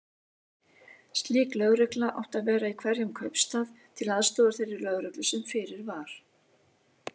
Slík lögregla átti að vera í hverjum kaupstað, til aðstoðar þeirri lögreglu sem fyrir var.